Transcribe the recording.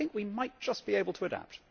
I think we might just be able to adapt.